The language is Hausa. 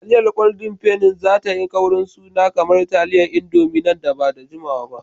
Taliyar Golden Penni za tayi kaurin suna kamar taliyar Indomi nan ba da jimawa ba.